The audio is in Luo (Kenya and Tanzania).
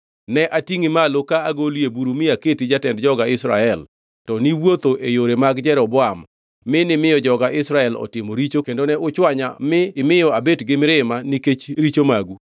Ne atingʼi malo ka agoli e buru mi aketi jatend joga Israel to niwuotho e yore mag Jeroboam mi nimiyo joga Israel otimo richo kendo ne uchwanya mi imiyo abet gi mirima nikech richo magu.